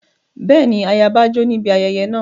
Bẹ́ẹ̀ni, ayaba jó níbi ayẹyẹ náà.